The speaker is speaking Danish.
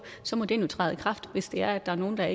så må den jo træde i kraft hvis det er at der er nogle der